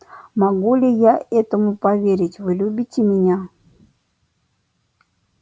могу ли я этому поверить вы любите меня